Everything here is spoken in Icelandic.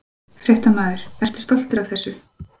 Fréttamaður: Ertu stoltur af þessu?